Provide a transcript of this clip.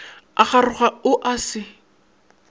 a kgaroga o a se